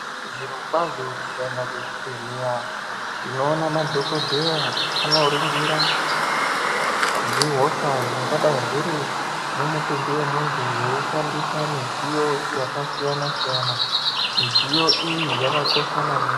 Zvirokwazvo tikaenda kuzvibhedhleya tinoona madhokodheya anoringira zvihosha zvingadai zviri mumutumbi wemuntu veishandisa midziyo yakasiyana siyana midziyo iyi yakakosha maningi.